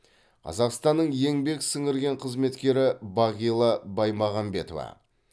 қазақстанның еңбек сіңірген қызметкері бағила баймағамбетова